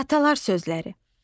Atalar sözləri.